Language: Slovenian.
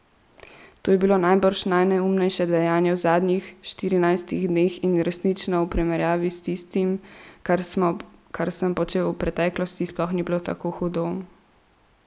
To je bilo najbrž najneumnejše dejanje v zadnjih štirinajstih dneh in resnično v primerjavi s tistim, kar sem počel v preteklosti, sploh ni bilo tako hudo.